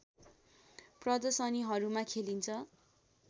प्रदर्शनीहरूमा खेलिन्छ